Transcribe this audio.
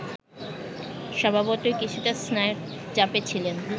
স্বভাবতই কিছুটা স্নায়ুর চাপে ছিলেন